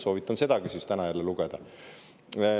Soovitan sedagi lugeda.